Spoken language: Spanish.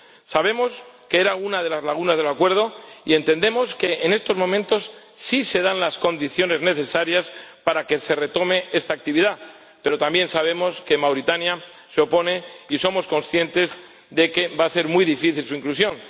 Sabemos que era una de las lagunas del Acuerdo y entendemos que en estos momentos sí se dan las condiciones necesarias para que se retome esta actividad, pero también sabemos que Mauritania se opone y somos conscientes de que va a ser muy difícil su inclusión.